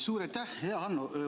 Suur aitäh, hea Hanno!